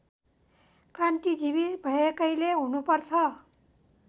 क्रान्तिजीवी भएकैले हुनुपर्छ